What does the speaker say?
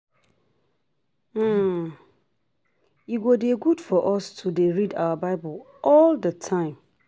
E go dey good for us to dey read our bible all the time